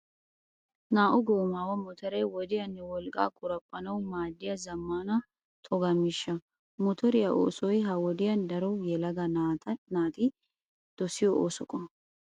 Naa"u goomaawu motoree wodiyaanne wolqqaa qoraphphanawu maaddiya zammaana toga miishsha. Motoriya oosoy ha wodiyan daro yelaga naati dosiyo ooso qommo.